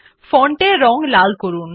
font এর রং লাল করুন